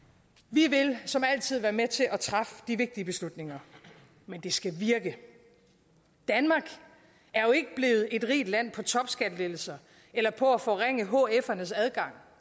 vi vil som altid være med til at træffe de vigtige beslutninger men det skal virke danmark er jo ikke blevet et rigt land på topskattelettelser eller på at forringe hfernes adgang